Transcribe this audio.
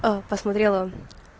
а посмотрела